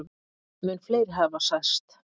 Mun fleiri hafi særst.